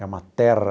É uma terra